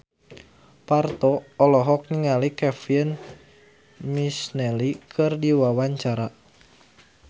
Parto olohok ningali Kevin McNally keur diwawancara